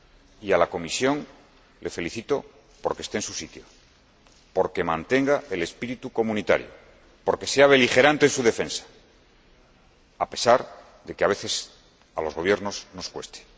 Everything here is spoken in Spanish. y a la Comisión la felicito por que esté en su sitio, por que mantenga el espíritu comunitario y por que sea beligerante en su defensa, a pesar de que, a veces, a los Gobiernos nos cueste.